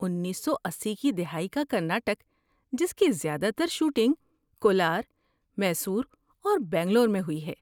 انیسو اسی کی دہائی کا کرناٹک جس کی زیادہ تر شوٹنگ کولار، میسور اور بنگلور میں ہوئی ہے